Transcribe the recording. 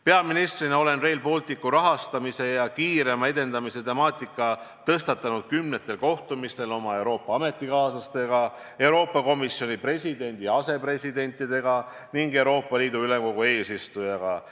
Peaministrina olen Rail Balticu rahastamise ja kiirema edendamise temaatika tõstatanud kümnetel kohtumistel oma Euroopa ametikaaslastega, Euroopa Komisjoni presidendi ja asepresidentidega ning Euroopa Liidu Ülemkogu eesistujaga.